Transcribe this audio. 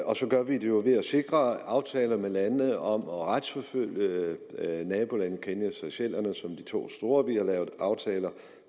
og så gør vi det jo ved at sikre aftaler med lande om at retsforfølge nabolandene kenya og seychellerne er de to store har vi lavet aftaler